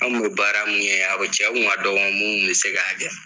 Anw kun bɛ baara mun kɛ yan, a cɛ kun ka dɔgɔ munnu bɛ se k'a Kɛ.